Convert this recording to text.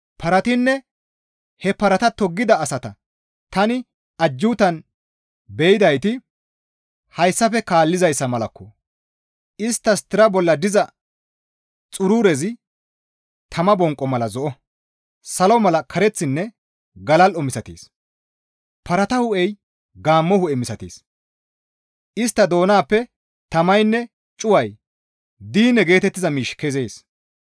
Paratinne he parata toggida asata tani ajjuutan be7idayti hayssafe kaallizayssa malakko! Isttas tira bolla diza xururezi tama bonqo mala zo7o; salo mala kareththinne galal7o misatees. Parata hu7ey gaammo hu7e misatees; istta doonappe tamaynne cuway diine geetettiza miishshi kezees.